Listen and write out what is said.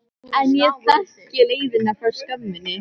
En ég þekki leiðina frá skömminni.